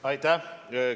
Aitäh!